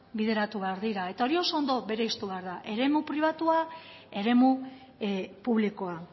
bideratu behar dira eta hori oso ondo berezitu behar da eremu pribatua eremu publikoa